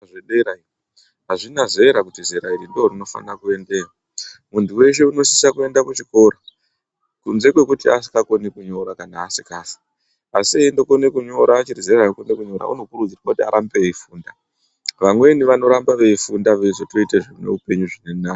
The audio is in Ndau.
Zvedara iyo azvina zera kuti zera iri ndorino fana kuendeyo muntu weshe unosisa kuenda ku chikora kunze kwekuti asikakoni kunyora kana asikazwi asi eindo kone kunyora achiri zera rekuenda kunyora uno kurudzirwa kuti arambe eyi funda vamweni vanoramba vei funda vei zotoite zvine upenyu zvirinani.